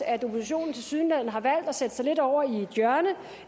at oppositionen tilsyneladende har valgt at sætte sig lidt over i et hjørne